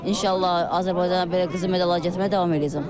İnşallah Azərbaycana belə qızıl medallar gətirməyə davam eləyəcəm.